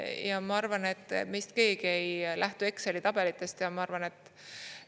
Ja ma arvan, et meist keegi ei lähtu Exceli tabelitest, ja ma arvan, et …